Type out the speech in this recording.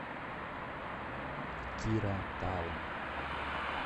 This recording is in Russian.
кира таун